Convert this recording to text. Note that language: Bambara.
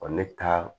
ne taa